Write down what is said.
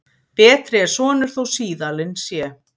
Betri er sonur þó síðalin sé.